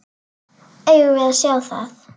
Eigum við að sjá það?